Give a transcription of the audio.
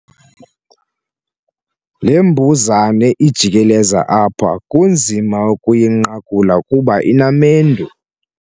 Le mbuzane ijikeleza apha kunzima ukuyinqakula kuba inamendu.